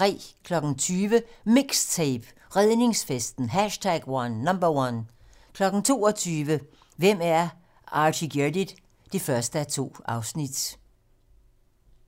20:00: MIXTAPE - Redningsfesten #1 22:00: Hvem er Artigeardit? 1:2